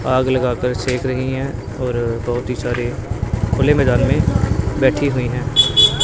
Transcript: आग लगाकर सेक रही हैं और बहोत ही सारे खुले मैदान में बैठी हुई हैं।